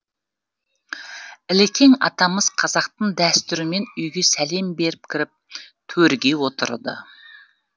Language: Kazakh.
ілекең атамыз қазақтың дәстүрімен үйге сәлем беріп кіріп төрге отырды